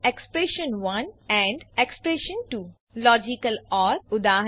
એક્સપ્રેશન1 expression two logical or ઉદા